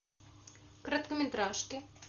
короткометражки